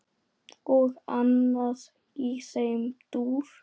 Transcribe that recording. Og annað í þeim dúr.